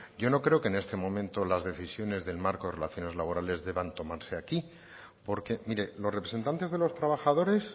yo no creo que en este momento las decisiones del marco de relaciones laborales deban tomarse aquí porque mire los representantes de los trabajadores